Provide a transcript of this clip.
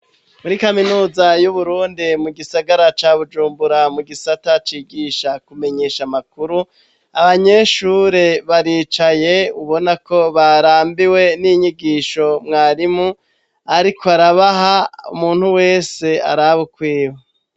Muri kaminuza y'uburundi mu gisagara ca bujumbura mu gisata cigisha kumenyesha amakuru abanyeshure baricaye ubona ko barambiwe n'inyigisho mwarimu, ariko arabaha umuntu wese araba ukwiwe.